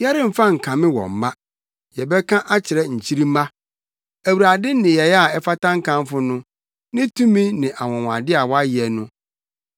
Yɛremfa nkame wɔn mma; yɛbɛka akyerɛ nkyirimma Awurade nneyɛe a ɛfata nkamfo no, ne tumi ne anwonwade a wayɛ no.